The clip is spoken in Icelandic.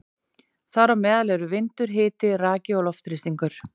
Þar á meðal eru vindur, hiti, raki og loftþrýstingur.